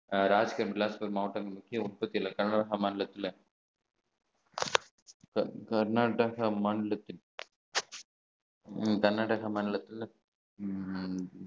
மாநிலத்தில கர்நாடகா மாநிலத்தில் உம் கர்நாடக மாநிலத்தில உம்